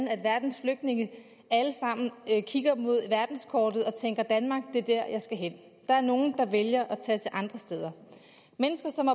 at verdens flygtninge alle sammen kigger på verdenskortet og tænker danmark er dér jeg skal hen der er nogle der vælger at tage til andre steder mennesker som